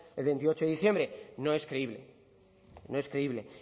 el veintiocho de diciembre no es creíble no es creíble